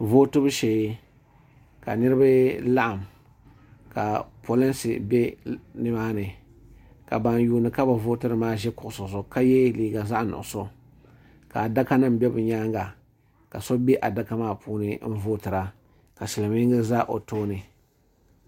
Vootibu shee. ka niribi laɣim. ka pɔlinsi be nimaani. ka ban yuuni kabi vootiri maa ʒi kuɣisi ka yeliiga zaɣi nuɣuso , ka adaka nim be bɛ nyaaŋa. ka so be a dama puuni n vootira ka silimiingi be ɔ tooni